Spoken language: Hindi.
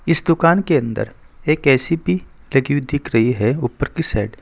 इस दुकान के अंदर एक ए_सी भी लगी हुई दिख रही है ऊपर की साइड ।